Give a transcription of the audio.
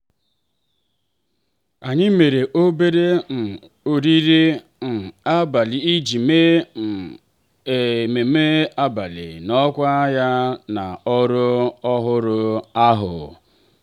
anyị mere obere um oriri um abalị iji mee um ememme mbuli n'ọkwa ya na ọrụ ọhụrụ ahụ.